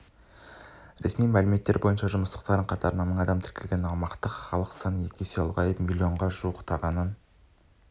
ресми мәліметтер бойынша жұмыссыздар қатарында мың адам тіркелген аумақтағы халық саны екі есеге ұлғайып миллионға жуықтағанын